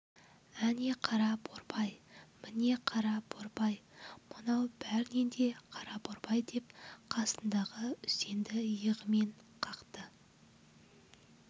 әне қара борбай міне қара борбай мынау бәрінен де қара борбай деп қасындағы үсенді иығымен қақты